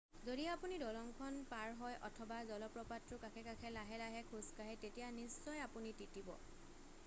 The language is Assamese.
যদি আপুনি দলংখন পাৰ হয় অথবা জলপ্ৰপাতটোৰ কাষে কাষে লাহে লাহে খোজ কাঢ়ে তেতিয়া নিশ্চয় আপুনি তিতিব